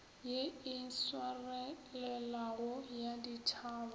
ye e swarelelago ya ditšhaba